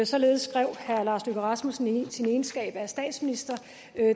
således skrev herre lars løkke rasmussen i sin egenskab af statsminister